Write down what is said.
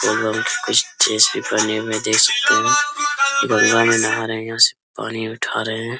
पानी में देख सकते है की गंगा में नाहा रहे है यहां से पानी उठा रहे हैं।